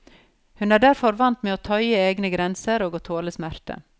Hun er derfor vant med å tøye egne grenser og å tåle smerte.